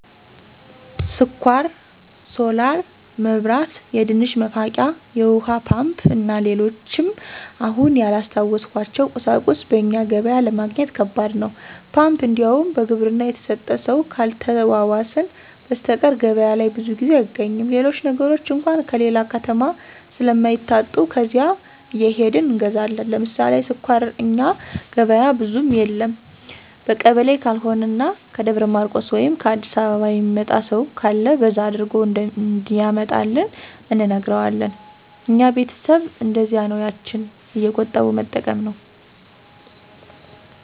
ስኳር፣ ሶላር መብራት፣ የድንች መፋቂያ፣ የውሀ ፓምፕ እና ሌሎችም አሁን ያላስታወስኋቸው ቁሳቁሶች በእኛ ገበያ ለማግኘት ከባድ ነው። ፓምፕ እንዲያውም በግብርና የተሰጠ ሰው ካልተዋዋስን በሰተቀር ገበያ ላይ ብዙ ጊዜ አይገኝም። ሌሎች ነገሮች አንኳ ከሌላ ከተማ ስለማይታጡ ከዚያ እየሄድን እንገዛለን። ለምሳሌ ስኳር እኛ ገበያ ብዙም የለ በቀበሌ ካልሆነ እና ከደብረ ማርቆስ ወይም ከ አዲስ አበባ የሚመጣ ሰው ካለ በዛ አድርጎ እንዲያመጣልን እንነግረዋለን። እኛ ቤተሰብ እነደዚያ ነው ያችን እየቆጠቡ መጠቀም ነው።